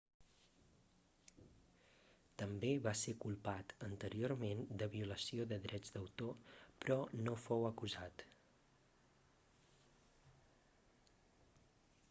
també va ser culpat anteriorment de violació de drets d'autor però no fou acusat